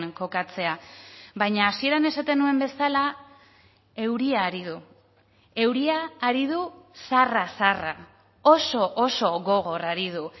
kokatzea baina hasieran esaten nuen bezala euria ari du euria ari du zarra zarra oso oso gogor ari du